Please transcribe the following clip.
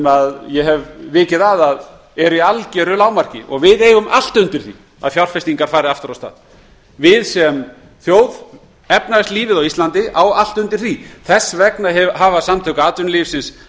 en ég hef vikið að því að þær eru í algjöru lágmarki við eigum allt undir því að þær fjárfestingar fari aftur af stað við sem þjóð efnahagslífið á íslandi á allt undir því þess vegna hafa samtök atvinnulífsins